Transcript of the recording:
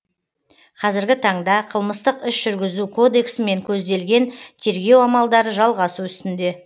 қазіргі таңда қылмыстық іс жүргізу кодексімен көзделген тергеу амалдары жалғасу үстінде